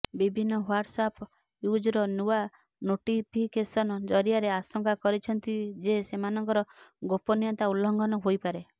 ବିଭିନ୍ନ WhatsApp user ନୂଆ notification ଜରିଆରେ ଆଶଙ୍କା କରିଛନ୍ତି ଯେ ସେମାନଙ୍କର ଗୋପନୀୟତା ଉଲ୍ଲଂଘନ ହୋଇପାରେ